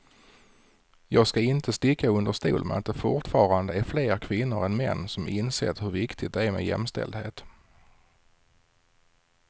Jag ska inte sticka under stol med att det fortfarande är fler kvinnor än män som insett hur viktigt det är med jämställdhet.